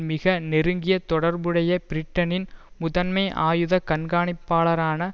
மிக நெருங்கிய தொடர்புடைய பிரிட்டனின் முதன்மை ஆயுத கண்காணிப்பாளரான